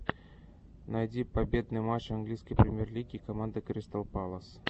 найти победный матч английской премьер лиги команды кристал пэлас